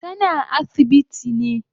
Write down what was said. Tana asibiti